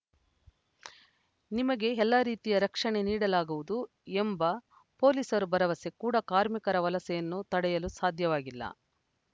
ನಿಮಗೆ ಎಲ್ಲಾ ರೀತಿಯ ರಕ್ಷಣೆ ನೀಡಲಾಗುವುದು ಎಂಬ ಪೊಲೀಸರು ಭರವಸೆ ಕೂಡಾ ಕಾರ್ಮಿಕರ ವಲಸೆಯನ್ನು ತಡೆಯಲು ಸಾಧ್ಯವಾಗಿಲ್ಲ